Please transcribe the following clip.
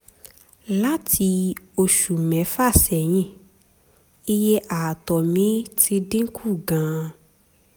láti oṣù mẹ́fà sẹ́yìn iye ààtọ̀ mi ti dín kù gan-an